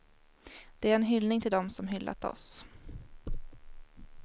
Det är en hyllning till dem som hyllat oss.